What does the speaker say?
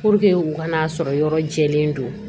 Puruke u kana sɔrɔ yɔrɔ jɛlen don